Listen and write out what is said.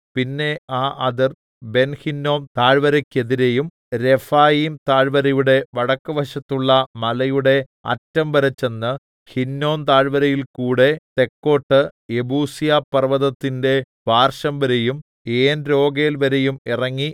പിന്നെ ആ അതിർ ബെൻഹിന്നോം താഴ്വരക്കെതിരെയും രെഫയീം താഴ്‌വരയുടെ വടക്കുവശത്തുള്ള മലയുടെ അറ്റംവരെ ചെന്ന് ഹിന്നോം താഴ്‌വരയിൽ കൂടെ തെക്കോട്ട് യെബൂസ്യപർവ്വതത്തിന്റെ പാർശ്വംവരെയും ഏൻരോഗേൽവരെയും ഇറങ്ങി